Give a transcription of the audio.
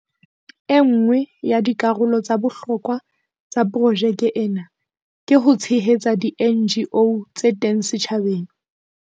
E nngwe ya dikarolo tsa bohlokwa tsa projeke ena ke ho tshehetsa di-NGO tse teng setjhabeng.